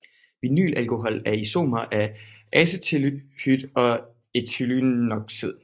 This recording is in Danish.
Vinylalkohol er en isomer af acetaldehyd og ethylenoxid